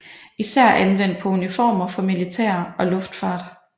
Især anvendt på uniformer for militære og luftfart